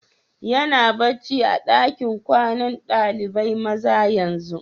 Yana barci a'dakin kwanan dalibain maza yanzu?